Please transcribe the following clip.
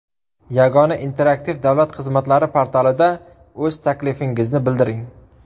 Yagona interaktiv davlat xizmatlari portalida o‘z taklifingizni bildiring.